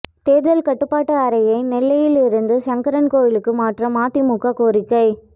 தேர்தல் கட்டுப்பாட்டு அறையை நெல்லையில் இருந்து சங்கரன்கோவிலுக்கு மாற்ற மதிமுக கோரிக்கை